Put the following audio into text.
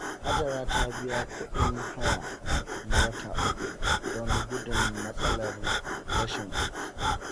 Hajara ta biya kuɗin haya na wata uku don gudun matsalar rashin kuɗi.